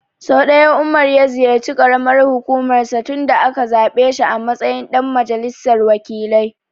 Sau ɗaya Umar ya ziyarci ƙaramar hukumar sa tun da aka zaɓe shi a matsayin ɗan majalisar wakilai.